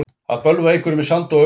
Að bölva einhverjum í sand og ösku